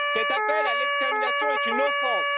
Cet appel à l'extermination est une offense.